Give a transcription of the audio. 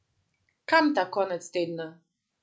Kam ta konec tedna?